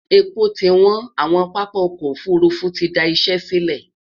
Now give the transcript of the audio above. èpo ti wọn, àwon pápá ọkọ òfurufú tí dá Iṣé sílè